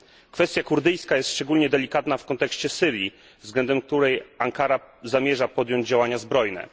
Kwestia kurdyjska jest szczególnie delikatna w kontekście Syrii, względem której Ankara zamierza podjąć działania zbrojne.